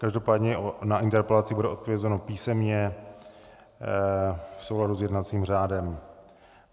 Každopádně na interpelaci bude odpovězeno písemně v souladu s jednacím řádem.